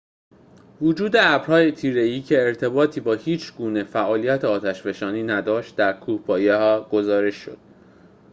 وجود ابرهای تیره‌ای که ارتباطی با هیچ‌گونه فعالیت آتش‌فشانی نداشت در کوهپایه گزارش شد